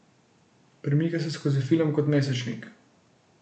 Premika se skozi film kot mesečnik.